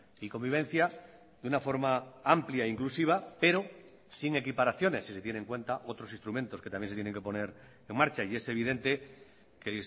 y convivencia de una forma amplia inclusiva pero sin equiparaciones si se tiene en cuenta otros instrumentos que también se tienen que poner en marcha y es evidente que